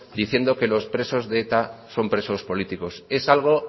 diciendo que los presos de eta son presos políticos es algo